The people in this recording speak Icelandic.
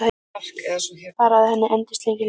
Bara að hann endist lengi, lengi.